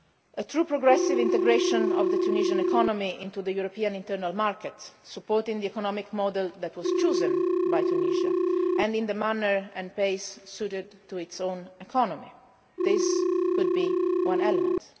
A true progressive integration of the Tunisian economy into the European internal market, supporting the economic model that was chosen by Tunisia and in the manner and pace suited to its own economy this could be one element.